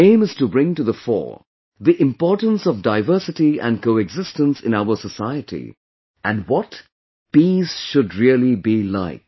Their aim is to bring to the fore the importance of Diversity and Coexistence in our society and what peace should really be like